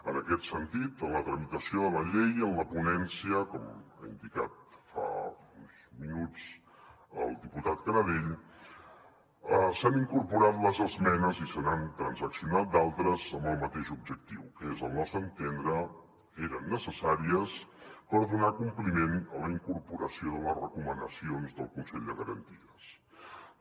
en aquest sentit en la tramitació de la llei i en la ponència com ha indicat fa uns minuts el diputat canadell s’han incorporat les esmenes i se n’han transaccional d’altres amb el mateix objectiu que al nostre entendre eren necessàries per donar compliment a la incorporació de les recomanacions del consell de garanties estatutàries